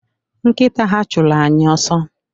Nkịta ha chụrụ anyị ọsọ